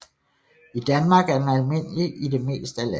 I Danmark er den almindelig i det mest af landet